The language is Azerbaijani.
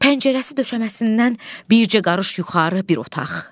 Pəncərəsi döşəməsindən bircə qarış yuxarı bir otaq.